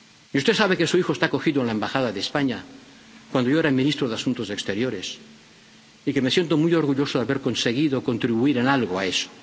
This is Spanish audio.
Usted sabe que su hijo fue acogido en la Embajada de España cuando yo era ministro de Asuntos Exteriores y que me siento muy orgulloso de haber conseguido contribuir en algo a